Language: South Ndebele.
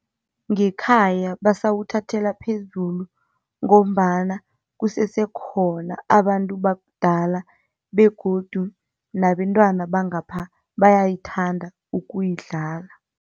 Ngekhaya basawuthathela phezulu ngombana kusese khona abantu bakudala begodu nabentwana bangapha bayayithanda ukuyidlala.